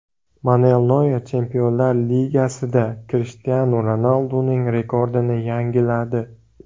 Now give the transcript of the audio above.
Manuel Noyer Chempionlar Ligasida Krishtianu Ronalduning rekordini yangiladi.